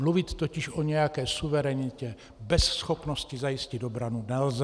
Mluvit totiž o nějaké suverenitě bez schopnosti zajistit obranu nelze.